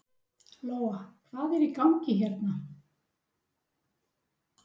Lóa: Hvað er í gangi hérna?